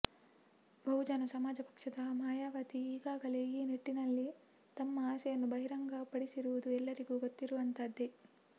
ಬಹುಜನ ಸಮಾಜ ಪಕ್ಷದ ಮಾಯಾವತಿ ಈಗಾಗಲೇ ಈ ನಿಟ್ಟಿನಲ್ಲಿ ತಮ್ಮ ಆಸೆಯನ್ನು ಬಹಿರಂಗ ಪಡಿಸಿರುವುದು ಎಲ್ಲರಿಗೂ ಗೊತ್ತಿರುವಂತಹದ್ದೆ